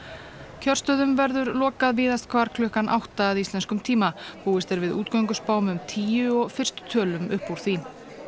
kjörstöðum verður lokað víðast hvar klukkan átta að íslenskum tíma búist er við útgönguspám um tíu og fyrstu tölum upp úr því